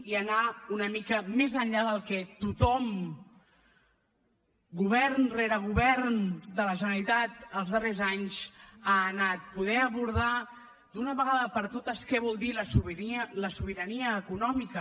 i anar una mica més enllà del que tothom govern rere govern de la generalitat els darrers anys ha anat poder abordar d’una vegada per totes què vol dir la sobirania econòmica